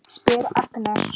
spyr Agnes.